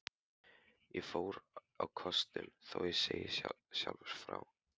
Ég fór á kostum, þó ég segi sjálfur frá.